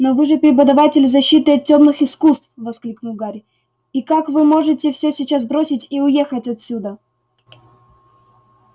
но вы же преподаватель защиты от тёмных искусств воскликнул и гарри как вы можете всё сейчас бросить и уехать отсюда